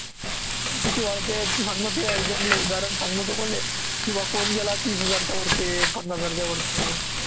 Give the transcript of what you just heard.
किती वाढते तू सांग तुहया उदाहरण सांग ना तू मले की बा कोण गेला तीस हजारच्या वरती पन्नास हजारच्या वरती